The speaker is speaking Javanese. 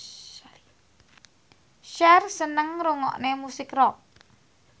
Cher seneng ngrungokne musik rock